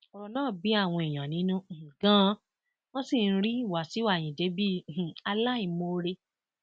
ọrọ náà bí àwọn èèyàn nínú ganan wọn sì ń rí wàṣíù ayíǹde bí um aláìmoore